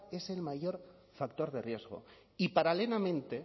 es el mayor factor de riesgo y paralelamente